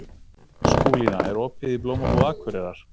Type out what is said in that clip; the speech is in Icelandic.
Skúlína, er opið í Blómabúð Akureyrar?